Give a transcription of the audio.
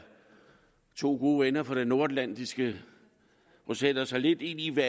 to gode venner fra det nordatlantiske og sætter sig lidt ind i hvad